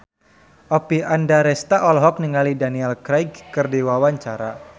Oppie Andaresta olohok ningali Daniel Craig keur diwawancara